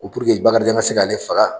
Ko puruke Bakarijan ka se k'ale faga